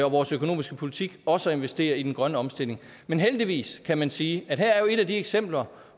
vores økonomiske politik også at investere i den grønne omstilling men heldigvis kan man sige er jo et af de eksempler